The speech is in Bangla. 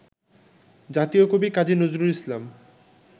জাতীয় কবি কাজী নজরুল ইসলাম